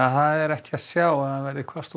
það er ekki að sjá að verði hvasst og